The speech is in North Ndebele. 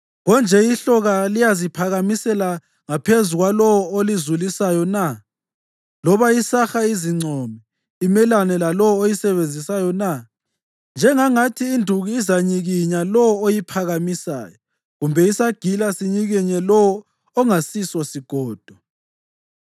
Konje ihloka liyaziphakamisela ngaphezu kwalowo olizulisayo na, loba isaha izincome imelane lalowo oyisebenzisayo na? Njengangathi induku izanyikinya lowo oyiphakamisayo, kumbe isagila sinyikinye lowo ongasiso sigodo!